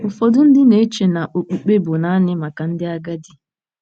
Ụfọdụ ndị na-eche na okpukpe bụ naanị maka ndị agadi.